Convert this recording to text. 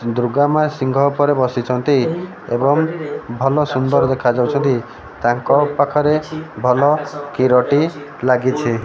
ଦୁର୍ଗା ମା ସିଂହ ଉପରେ ବସିଛନ୍ତି ଏବଂ ଭଲ ସୁନ୍ଦର ଦେଖା ଯାଉଛନ୍ତି ତାଙ୍କ ପାଖରେ ଭଲ କିରଟି ଲାଗିଛି।